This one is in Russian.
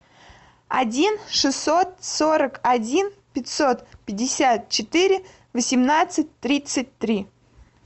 один шестьсот сорок один пятьсот пятьдесят четыре восемнадцать тридцать три